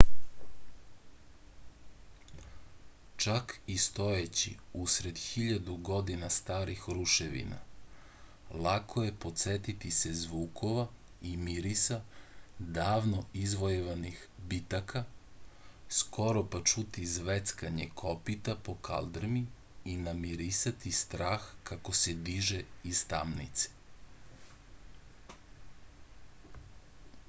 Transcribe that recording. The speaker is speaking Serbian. čak i stojeći usred hiljadu godina starih ruševina lako je podsetiti se zvukova i mirisa davno izvojevanih bitaka skoro pa čuti zveckanje kopita po kaldrmi i namirisati strah kako se diže iz tamnica